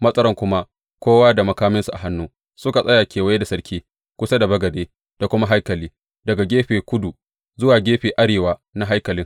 Matsaran kuma kowa da makaminsa a hannu, suka tsaya kewaye da sarki, kusa da bagade da kuma haikali, daga gefen kudu zuwa gefen arewa na haikalin.